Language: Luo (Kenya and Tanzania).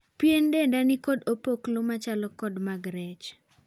Pien denda ni kod opoklo macho kod mag rech.